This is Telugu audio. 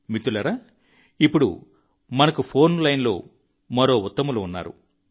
మిత్రులారా ఇప్పుడు మనకు ఫోన్ లైన్లో మరో ఉత్తములు ఉన్నారు